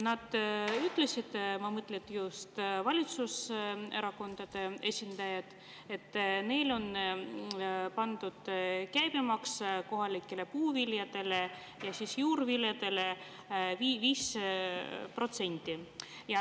Nad, ma mõtlen just valitsuserakondade esindajaid, ütlesid, et neil on pandud käibemaks kohalikele puuviljadele ja juurviljadele 5%.